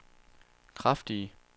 kraftige